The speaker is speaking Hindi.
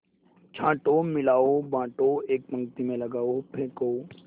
छाँटो मिलाओ बाँटो एक पंक्ति में लगाओ फेंको